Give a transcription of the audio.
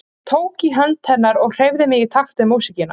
Ég tók í hönd hennar og hreyfði mig í takt við músíkina.